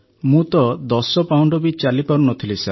ମୁଁ ତ ଦଶ ପାହୁଣ୍ଡ ବି ଚାଲିପାରୁନଥିଲି ସାର୍